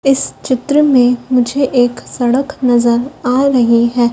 इस चित्र में मुझे एक सड़क नजर आ रही है।